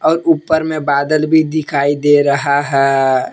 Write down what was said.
ऊपर में बादल भी दिखाई दे रहा है।